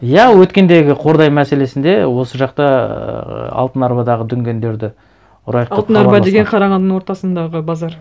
иә өткендегі қордай мәселесінде осы жақта ыыы алтын арбадағы дүнгендерді ұрайық деп хабарласқан алтын арба деген қарағандының ортасындағы базар